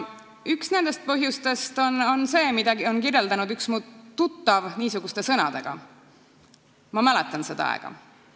Üks nendest põhjustest on see, mida üks minu tuttav on kirjeldanud niisuguste sõnadega: "Ma mäletan seda aega.